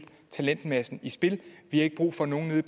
talentmassen i spil vi har ikke brug for at nogen nede